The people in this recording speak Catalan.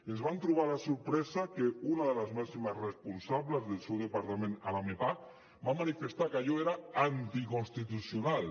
ens vam trobar la sorpresa que una de les màximes responsables del seu departament a la mepagc va manifestar que allò era anticonstitucional